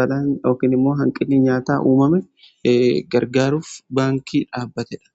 balaan yookiin immoo hanqinnii nyaataa uumame gargaaruuf baankii dhaabbateedha.